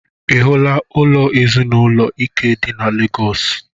Ị hụla ụlọ ezinaụlọ Ike dị na Legọs?